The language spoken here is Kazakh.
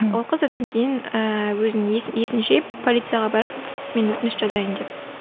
ол қыз одан кейін ііі өзін есін жиып полицияға барады мен өтініш жазайын деп